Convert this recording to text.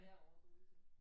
Kan jeg overhovedet det?